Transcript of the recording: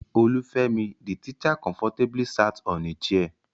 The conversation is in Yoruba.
Olufemi, the teacher, comfortably sat on a chair.